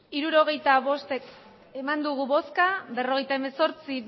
hirurogeita bost bai berrogeita hemezortzi